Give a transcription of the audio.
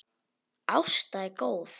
Ásta er góð.